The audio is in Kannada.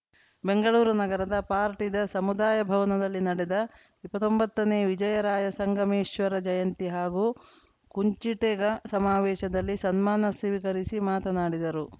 ಬೆಂಗಳೂರು ನಗರದ ಪಾರ್ಟಿ ದ ಸಮುದಾಯ ಭವನದಲ್ಲಿ ನಡೆದ ಇಪ್ಪತೊಂಬತ್ತನೇ ವಿಜಯರಾಯ ಸಂಗಮೇಶ್ವರ ಜಯಂತಿ ಹಾಗೂ ಕುಂಚಿಟಿಗ ಸಮಾವೇಶದಲ್ಲಿ ಸನ್ಮಾನ ಸ್ವೀಕರಿಸಿ ಮಾತನಾಡಿದರು